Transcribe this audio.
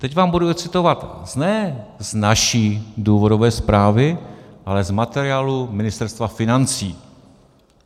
Teď vám budu recitovat ne z naší důvodové zprávy, ale z materiálu Ministerstva financí.